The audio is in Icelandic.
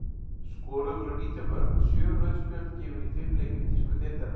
Skoruð voru nítján mörk og sjö rauð spjöld gefin í fimm leikjum þýsku deildarinnar.